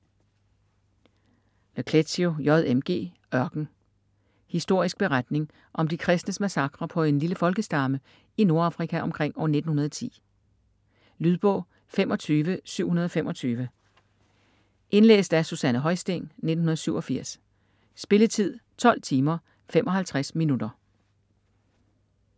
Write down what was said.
Le Clézio, J. M. G.: Ørken Historisk beretning om de kristnes massakre på en lille folkestamme i Nordafrika omkring år 1910. Lydbog 25725 Indlæst af Susanne Højsting, 1987. Spilletid: 12 timer, 55 minutter.